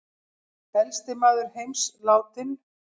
Elsti maður heims látinn